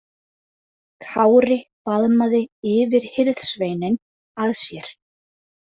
Kári faðmaði yfirhirðsveininn að sér.